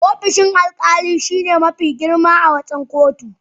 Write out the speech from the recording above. Ofishin alkali shine mafi girma a cikin kotu.